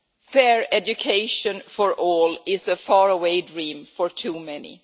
Fair education for all is a faraway dream for too many.